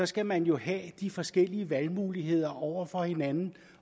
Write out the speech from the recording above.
skal man jo have de forskellige valgmuligheder over for hinanden